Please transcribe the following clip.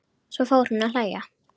Svo fór hún að hlæja.